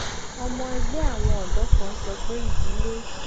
ọmọ ẹgbẹ àwọn ọdọ kan sọ pé ìdílé